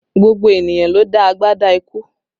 Gbogbo ènìyàn ló dá agbádá ikú